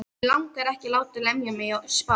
Mig langar ekki að láta lemja mig í spað.